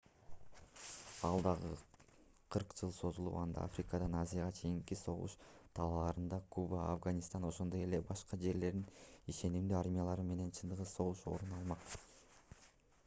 ал дагы 40 жыл созулуп анда африкадан азияга чейинки согуш талааларында куба афганистан ошондой эле башка жерлерде ишенимдүү армиялар менен чыныгы согуш орун алмак